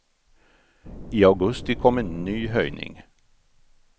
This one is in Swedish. I augusti kom en ny höjning.